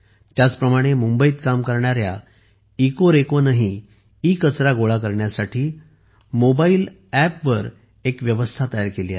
त्याचप्रमाणे मुंबईत काम करणाऱ्या इकोरेको इकोरेको ने ईकचरा गोळा करण्यासाठी मोबाईल अँप वरून यंत्रणा तयार केली आहे